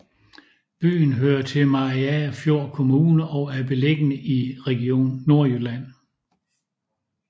Byen hører til Mariagerfjord Kommune og er beliggende i Region Nordjylland